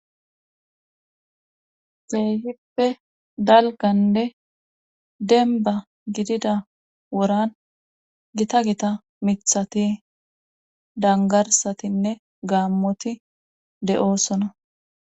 Keehippe dalganne denba gidida woran gita gita mithati dangarsatinne gaammoti de7oosona